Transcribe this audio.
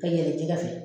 Ka yɛlɛ jɛgɛ fɛ